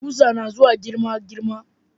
Kusa nazuwa girma girma